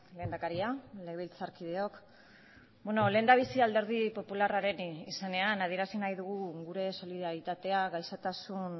lehendakaria legebiltzarkideok lehendabizi alderdi popularraren izenean adierazi nahi dugu gure solidaritatea gaixotasun